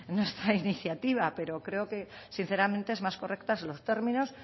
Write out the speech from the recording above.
nuestra iniciativa pero creo que sinceramente es más correcta los términos